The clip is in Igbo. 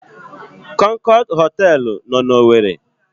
Kọnkọd họtelụ nọ n'Owere.